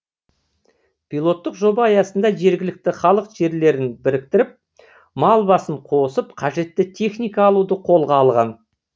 пилоттық жоба аясында жергілікті халық жерлерін біріктіріп мал басын қосып қажетті техника алуды қолға алған